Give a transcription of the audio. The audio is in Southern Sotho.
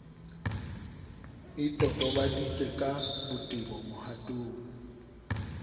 e totobaditswe ka botebo mohatong